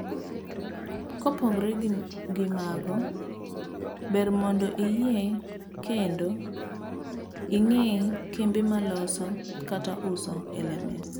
kopogre gi mago, ber mondo iyie KENDO r ing'ee kembe maloso kata uso LMS.